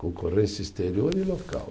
Concorrência exterior e local.